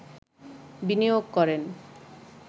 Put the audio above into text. বিনিয়োগ করেন